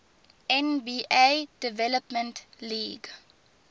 nba development league